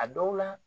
A dɔw la